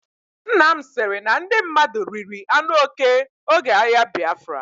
Nnam sịrị na ndị mmadụ riri anụ oke oge agha Biafra.